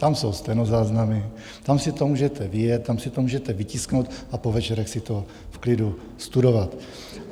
Tam jsou stenozáznamy, tam si to můžete vyjet, tam si to můžete vytisknout a po večerech si to v klidu studovat.